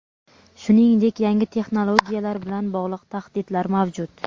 shuningdek yangi texnologiyalar bilan bog‘liq tahdidlar mavjud.